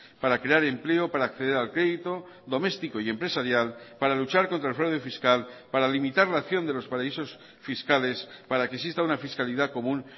para crear empleo para acceder al crédito doméstico y empresarial para luchar contra el fraude fiscal para limitar la acción de los paraísos fiscales para que exista una fiscalidad común